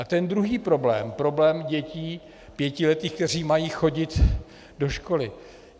A ten druhý problém, problém dětí pětiletých, které mají chodit do školy.